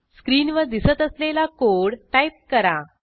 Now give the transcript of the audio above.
स्क्रीनवर दिसत असलेला कोड टाईप करा